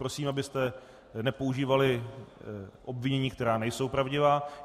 Prosím, abyste nepoužívali obvinění, která nejsou pravdivá.